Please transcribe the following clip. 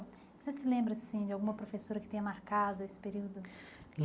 Você se lembra assim de alguma professora que tenha marcado esse período?